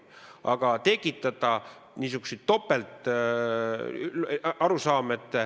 Aga tekitada niisuguseid topelt ...